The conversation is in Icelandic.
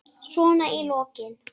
Svona í lokin.